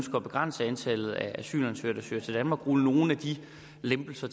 at begrænse antallet af asylansøgere der søger til danmark rulle nogle af de lempelser